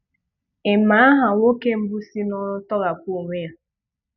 Ị ma aha nwoke mbụ si n'oru tọghapụ onwe ya?